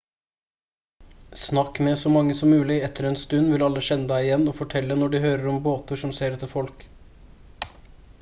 snakk med så mange som mulig etter en stund vil alle kjenne deg igjen og fortelle når de hører om båter som ser etter folk